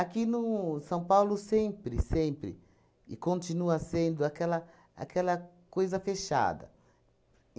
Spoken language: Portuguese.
no São Paulo, sempre, sempre, e continua sendo aquela aquela coisa fechada.